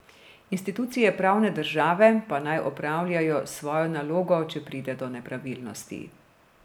Institucije pravne države pa naj opravljajo svojo nalogo, če pride do nepravilnosti.